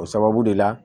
O sababu de la